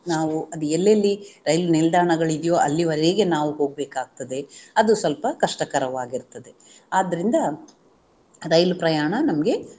ನಾವು ಅದೆಲ್ಲೆಲ್ಲಿ ರೈಲು ನಿಲ್ದಾಣಗಳಿದೆಯೋ ಅಲ್ಲಿಯವರೆಗೆ ನಾವು ಹೋಗ್ಬೇಕಾಗುತ್ತದೆ ಅದು ಸ್ವಲ್ಪ ಕಷ್ಟಕರವಾಗಿರ್ತದೆ ಆದ್ದರಿಂದ ರೈಲು ಪ್ರಯಾಣ ನಮ್ಗೆ